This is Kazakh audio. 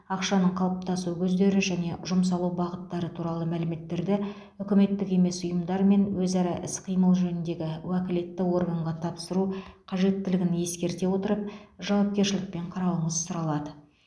ақшаның қалыптасу көздері және жұмсалу бағыттары туралы мәліметтерді үкіметтік емес ұйымдармен өзара іс қимыл жөніндегі уәкілетті органға тапсыру қажеттілігін ескерте отырып жауапкершілікпен қарауыңыз сұралады